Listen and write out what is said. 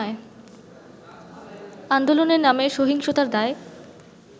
আন্দোলনের নামে সহিংসতার দায়